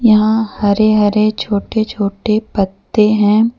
यहाँ हरे हरे छोटे छोटे पत्ते हैं।